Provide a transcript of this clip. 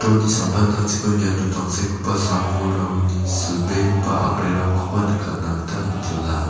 samtangtangchiko niato tangsekgipa sam-bolrangni silbegipa a·brirangkoba nikatna gita man·jola.